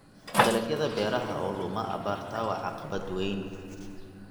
Dalagyada beeraha oo luma abaarta waa caqabad weyn.